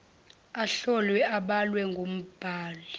ahlolwe abalwe ngumbali